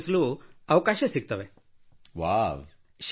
ನೀವು ಎಷ್ಟು ರಾಜ್ಯಗಳಿಗೆ ಭೇಟಿ ನೀಡಿದ್ದೀರಿ how many states you have visited